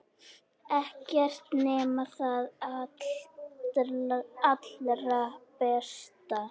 Ekkert nema það allra besta.